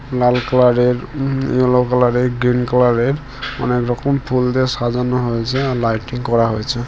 লাল কালারের um yellow কালারের green কালারের অনেক রকম ফুল দিয়ে সাজানো হয়েছে | আর লাইটিং করা হয়েছে ।